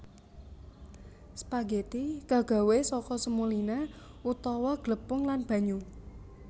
Spageti kagawé saka semolina utawa glepung lan banyu